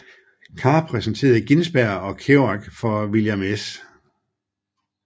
Carr præsenterede Ginsberg og Kerouac for William S